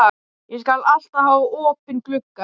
Ég skal alltaf hafa opinn gluggann.